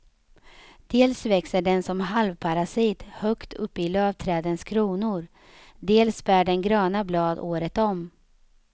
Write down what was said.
Dels växer den som halvparasit högt upp i lövträdens kronor, dels bär den gröna blad året om.